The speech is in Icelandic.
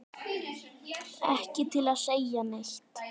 Ekki til að segja neitt.